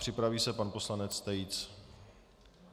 Připraví se pan poslanec Tejc.